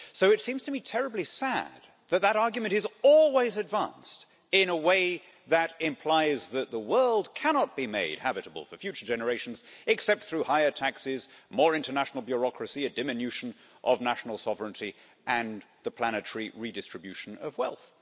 So it seems to me terribly sad that that argument is always advanced in a way that implies that the world cannot be made habitable for future generations except through higher taxes, more international bureaucracy, a diminution of national sovereignty and the planetary redistribution of wealth.